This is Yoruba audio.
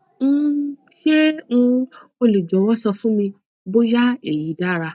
um ṣe um o le jọwọ sọ fun mi boya eyi dara